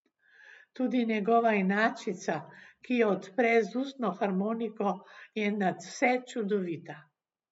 Tudi njegova inačica, ki jo odpre z ustno harmoniko, je nadvse čudovita.